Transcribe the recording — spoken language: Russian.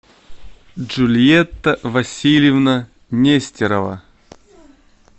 джульетта васильевна нестерова